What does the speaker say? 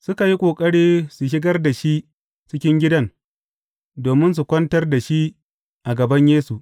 Suka yi ƙoƙari su shigar da shi cikin gidan, domin su kwantar da shi a gaban Yesu.